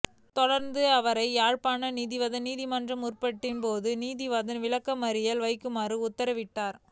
தொடர்ந்து அவரை யாழ்ப்பாணம் நீதிவான் நீதிமன்றில் முற்படுத்திய போதே நீதிவான் விளக்கமறியலில் வைக்குமாறு உத்தரவிட்டார்